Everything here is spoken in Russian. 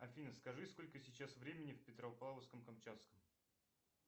афина скажи сколько сейчас времени в петропавловском камчатском